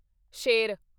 ਸ਼ੇਰ